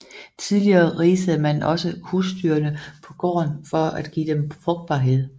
Tidligere risede man også husdyrene på gården for at give dem frugtbarhed